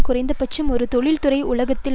குறைந்தபட்சம் ஒரு தொழிற்துறை உலகத்தில்